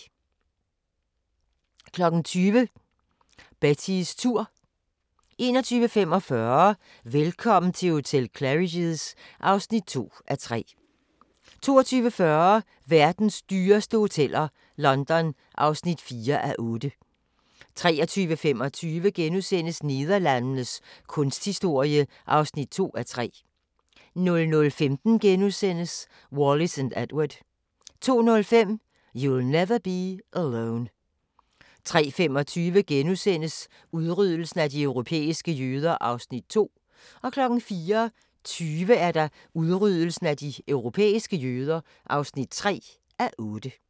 20:00: Betties tur 21:45: Velkommen til hotel Claridge's (2:3) 22:40: Verdens dyreste hoteller – London (4:8) 23:25: Nederlandenes kunsthistorie (2:3)* 00:15: Wallis & Edward * 02:05: You'll never be alone 03:25: Udryddelsen af de europæiske jøder (2:8)* 04:20: Udryddelsen af de europæiske jøder (3:8)